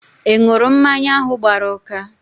Ị ṅụrụ mmanya ahụ gbara ụka?